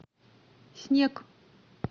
снег